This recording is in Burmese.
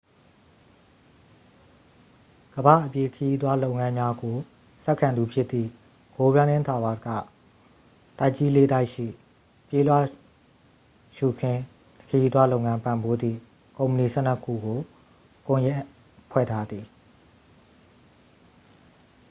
ကမ္ဘာ့ အပြေးခရီးသွားလုပ်ငန်းများကို ဆက်ခံသူဖြစ်သည့် go running tours က တိုက်ကြီး လေး တိုက်ရှိ ပြေးလွှာရှုခင်းခရီးသွားလုပ်ငန်း ပံ့ပိုးသည့် ကုမ္ပဏီ 12 ခုကို ကွန်ရက်ဖွဲ့ထားသည်